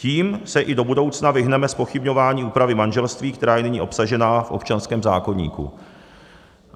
Tím se i do budoucna vyhneme zpochybňování úpravy manželství, která je nyní obsažena v občanském zákoníku.